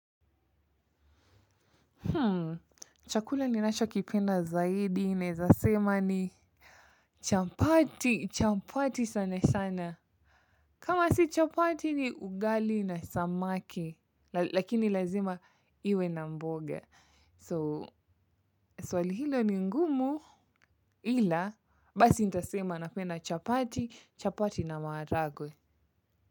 Hmm, chakula ni nachokipenda zaidi naeza sema ni chapati, chapati sana sana. Kama si chapati ni ugali na samaki, lakini lazima iwe na mboga. So, swali hilo ni ngumu ila, basi nitasema napena chapati, chapati na maharagwe.